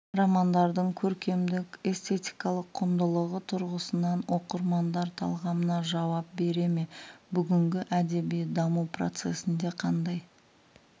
романдардың көркемдік эстетикалық құндылығы тұрғысынан оқырмандар талғамына жауап бере ме бүгінгі әдеби даму процесінде қандай